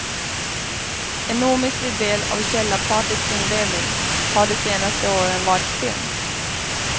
En omistlig del av källarpartyts inredning har de senaste åren varit film.